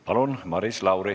Palun, Maris Lauri!